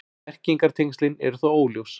Merkingartengslin eru þó óljós.